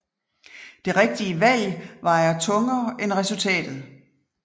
Det rigtige valg vejer tungere end resultatet